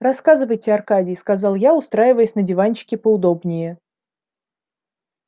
рассказывайте аркадий сказал я устраиваясь на диванчике поудобнее